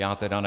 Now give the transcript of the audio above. Já teda ne.